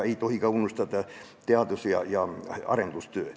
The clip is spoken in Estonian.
Ei tohi unustada ka teadus- ja arendustööd.